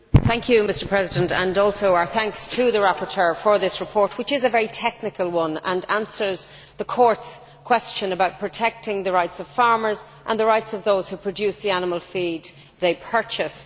Mr President, I would like to thank the rapporteur for this report, which is a very technical one and answers the Court's question about protecting the rights of farmers and the rights of those who produce the animal feed they purchase.